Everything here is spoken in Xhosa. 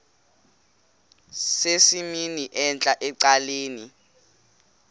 sesimnini entla ecaleni